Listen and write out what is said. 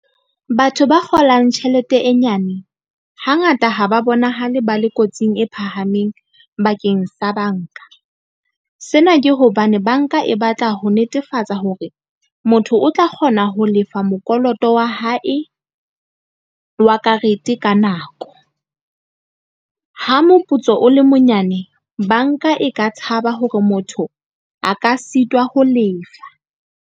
Batho ba kgolang tjhelete e nyane hangata ha ba bonahale ba le kotsing e phahameng bakeng sa banka. Sena ke hobane banka e batla ho netefatsa hore motho o tla kgona ho lefa mokoloto wa hae wa karete ka nako. Ha moputso o le monyane, banka e ka tshaba hore motho a ka sitwa ho lefa.